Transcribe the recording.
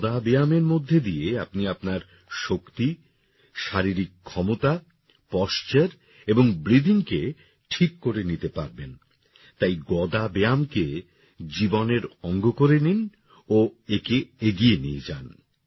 গদা ব্যায়ামের মধ্যে দিয়ে আপনি আপনার শক্তি শারীরিক ক্ষমতা পশ্চার এবং breathingকে ঠিক করে নিতে পারবেন তাই গদা ব্যায়ামকে জীবনের অঙ্গ করে নিন ও একে এগিয়ে নিয়ে যান